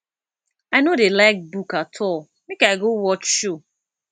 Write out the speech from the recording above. i no dey like book at all make i go watch show